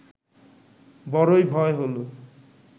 বড়ই ভয় হল